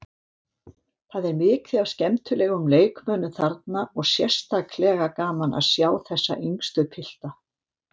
Það er mikið af skemmtilegum leikmönnum þarna og sérstaklega gaman að sjá þessa yngstu spila.